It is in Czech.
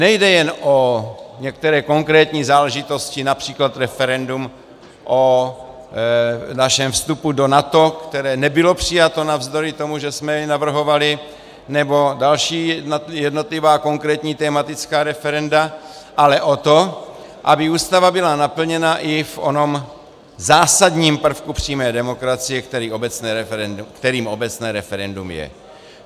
Nejde jen o některé konkrétní záležitosti, například referendum o našem vstupu do NATO, které nebylo přijato navzdory tomu, že jsme je navrhovali, nebo další jednotlivá konkrétní tematická referenda, ale o to, aby Ústava byla naplněna i v onom zásadním prvku přímé demokracie, kterým obecné referendum je.